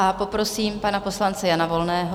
A poprosím pana poslance Jana Volného.